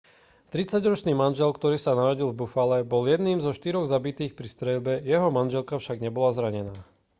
tridsaťročný manžel ktorý sa narodil v buffale bol jedným zo štyroch zabitých pri streľbe jeho manželka však nebola zranená